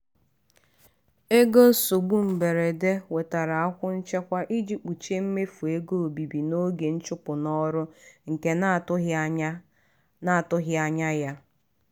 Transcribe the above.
ego nsogbu mberede wetara akwụ nchekwa iji kpuchie mmefu ego obibi n'oge ịchụpụ n'ọrụ nke na-atụghị anya na-atụghị anya ya.